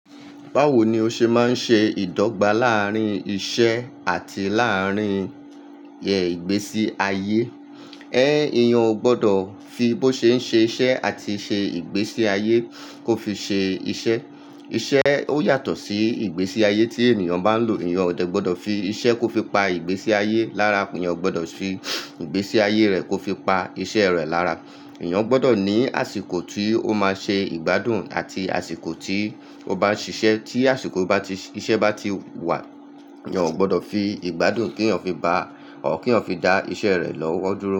Báwo ni ó ṣe máa ń ṣe ìdọ́gba láàárín iṣẹ́ àti láàárín ẹ ìgbésí ayé? É, èeyan ò gbọ́dọ̀ fi bó ṣe ń ṣe iṣẹ́ àti ṣe ìgbésí ayé kó fi ṣe iṣẹ́. Iṣẹ́ ó yàtọ̀ sí ìgbésí ayé tí ènìyàn bá ń lò. Ènìyàn ò de gbọ́dọ̀ fi iṣẹ́ kó fi pa ìgbésí ayé lára, eeyan o gbọ́dọ̀ fi ìgbésí ayé rẹ̀ kó fi pa iṣẹ́ rẹ̀ lára. Ènìyàn gbọ́dọ̀ ní àsìkò tí ó máa ṣe ìgbádùn àti àsìkò tí ó bá ń ṣiṣẹ́. Tí àsìkò bati, iṣẹ́ bá ti wà, èeyan ò gbọ́dọ̀ fi ìgbádùn kí èeyan fi ba à or kí eeyan fi dá iṣẹ́ rẹ̀ lọ́wọ́ dúró.